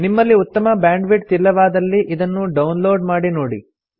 ನಿಮ್ಮಲ್ಲಿ ಉತ್ತಮ ಬ್ಯಾಂಡ್ವಿಡ್ತ್ ಇಲ್ಲವಾದಲ್ಲಿ ಇದನ್ನು ಡೌನ್ ಲೋಡ್ ಮಾಡಿ ನೋಡಿ